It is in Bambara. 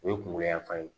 O ye kunkolo yanfan ye